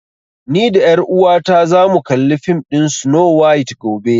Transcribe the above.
Ni da ƴar uwata za mu kalli fim ɗin Snow White gobe